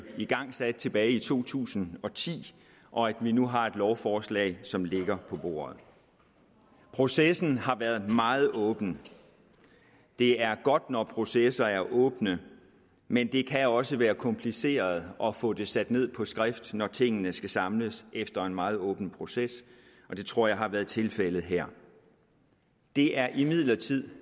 igangsat tilbage i to tusind og ti og at vi nu har et lovforslag som ligger på bordet processen har været meget åben det er godt når processer er åbne men det kan også være kompliceret at få det sat ned på skrift når tingene skal samles efter en meget åben proces og det tror jeg har været tilfældet her det er imidlertid